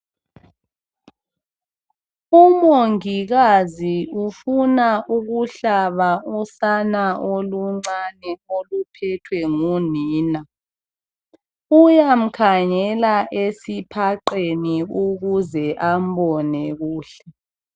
Umongikazi ufuna ukuhlaba usana oluncane oluphethwe ngunina. Uyamkhangela esiphaqeni ukuze ambone kuhle.